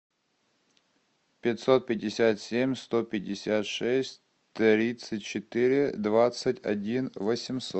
пятьсот пятьдесят семь сто пятьдесят шесть тридцать четыре двадцать один восемьсот